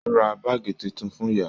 O rà báàgí títún fún ìyá.